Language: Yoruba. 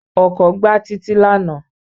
Ọkọ̀ gbá Títí lánàá